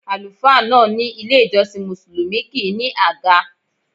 Àlùfáà náà ní ilé-ìjọsìn Mùsùlùmí kì í ní àga.